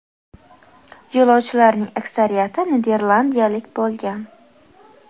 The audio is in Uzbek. Yo‘lovchilarning aksariyati niderlandiyalik bo‘lgan.